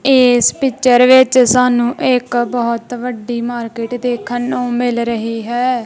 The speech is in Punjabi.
ਇਸ ਪਿਚਰ ਵਿੱਚ ਸਾਨੂੰ ਇੱਕ ਬਹੁਤ ਵੱਡੀ ਮਾਰਕੀਟ ਦੇਖਣ ਨੂੰ ਮਿਲ ਰਹੀ ਹੈ।